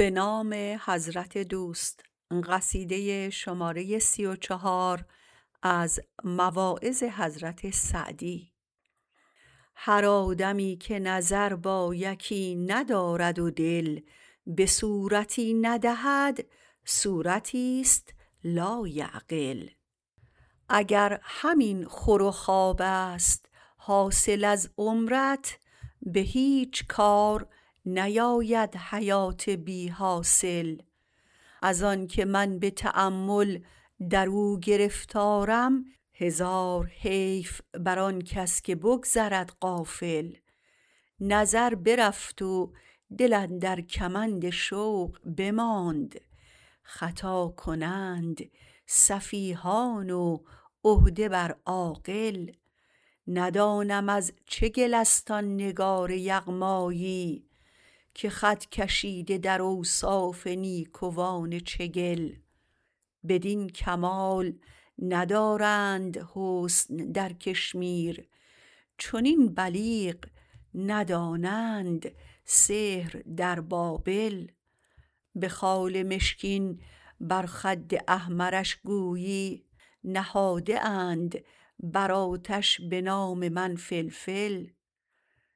هر آدمی که نظر با یکی ندارد و دل به صورتی ندهد صورتیست لایعقل اگر همین خور و خوابست حاصل از عمرت به هیچ کار نیاید حیات بی حاصل از آنکه من به تأمل درو گرفتارم هزار حیف بر آن کس که بگذرد غافل نظر برفت و دل اندر کمند شوق بماند خطا کنند سفیهان و عهده بر عاقل ندانم از چه گلست آن نگار یغمایی که خط کشیده در اوصاف نیکوان چگل بدین کمال ندارند حسن در کشمیر چنین بلیغ ندانند سحر در بابل به خال مشکین بر خد احمرش گویی نهاده اند بر آتش به نام من فلفل